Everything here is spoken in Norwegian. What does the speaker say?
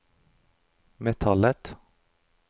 metallet